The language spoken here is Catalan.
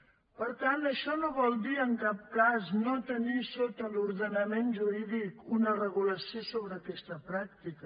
per tant això no vol dir en cap cas no tenir sota l’ordenament jurídic una regulació sobre aquesta pràctica